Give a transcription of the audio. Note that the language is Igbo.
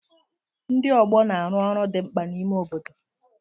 Ndi ọgbọ na-arụ ọrụ dị mkpa n'ime obodo.